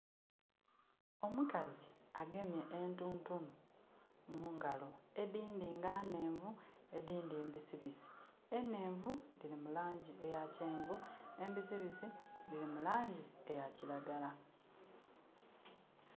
Omukazi agemye entuntunu mungalo edindi nga nnenvu edindi mbisibisi. Enenvu diri mulangi eya kyenvu embisi bisi diri mulangi eya kiragala